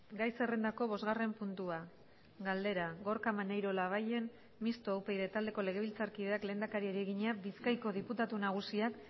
gai zerrendako bosgarren puntua galdera gorka maneiro labayen mistoa upyd taldeko legebiltzarkideak lehendakariari egina bizkaiko diputatu nagusiak